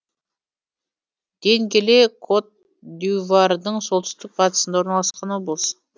денгеле кот д ивуардың солтүстік батысында орналасқан облыс